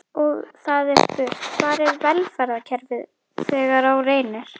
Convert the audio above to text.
Og það er spurt: Hvar er velferðarkerfið þegar á reynir?